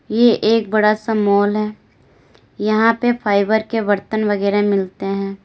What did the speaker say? ये एक बड़ा सा माल है यहां पे फाइबर के बर्तन वगैरा मिलते हैं।